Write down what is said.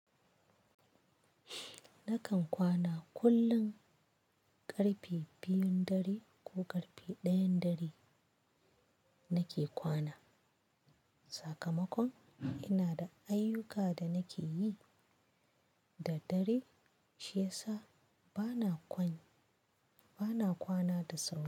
Nakan kwana kullum ƙarfe biyun dare ko ƙarfe ɗayan dare nake kwana. Sakamakon ina da ayyuka da nake yi da dare shi yasa bana kwan bana kwana da sauri.